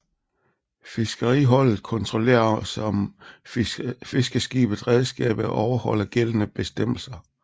Fiskeriholdet kontrollerer også om fiskeskibets redskaber overholder gældende bestemmelser